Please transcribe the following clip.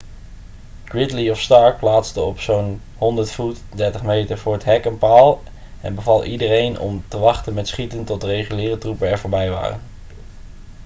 gridley of stark plaatste op zo'n 100 voet 30 meter voor het hek een paal en beval iedereen om te wachten met schieten tot de reguliere troepen er voorbij waren